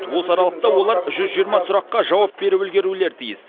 осы аралықта олар жүз жиырма сұраққа жауап беріп үлгерулері тиіс